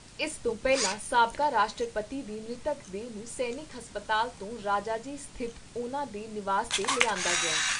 ਇਸ ਤੋਂ ਪਹਿਲਾਂ ਸਾਬਕਾ ਰਾਸ਼ਟਰਪਤੀ ਦੀ ਮ੍ਰਿਤਕ ਦੇਹ ਨੂੰ ਸੈਨਿਕ ਹਸਪਤਾਲ ਤੋਂ ਰਾਜਾ ਜੀ ਸਥਿਤ ਉਨ੍ਹਾਂ ਦੇ ਨਿਵਾਸ 'ਤੇ ਲਿਆਂਦਾ ਗਿਆ।